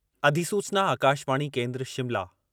अधिसूचना आकाशवाणी केन्द्र शिमला